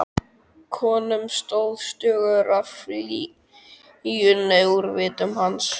Konum stóð stuggur af fýlunni úr vitum hans.